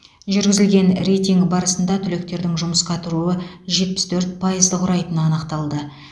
жүргізілген рейтинг барысында түлектердің жұмысқа тұруы жетпіс төрт пайызды құрайтыны анықталды